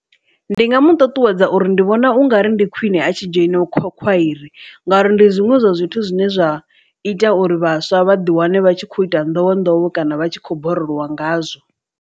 Ndi nga mu ṱuṱuwedza uri ndi vhona ungari ndi khwiṋe a tshi dzhoina khwairi, ngauri ndi zwiṅwe zwa zwithu zwine zwa ita uri vhaswa vha ḓi wane vha tshi kho ita nḓowe nḓowe kana vha tshi khou borolowa ngazwo.